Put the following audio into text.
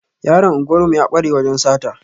Yaron unguwar mu ya kware wajan sata